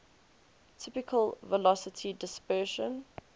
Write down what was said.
typical velocity dispersion